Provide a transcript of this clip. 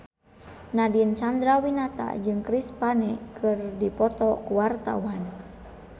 Nadine Chandrawinata jeung Chris Pane keur dipoto ku wartawan